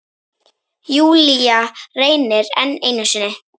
Júlía reynir enn einu sinni.